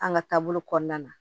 An ka taabolo kɔnɔna na